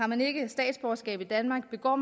man ikke har statsborgerskab i danmark og